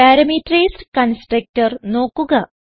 parameterised constructor നോക്കുക